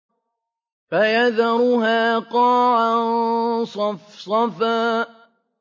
فَيَذَرُهَا قَاعًا صَفْصَفًا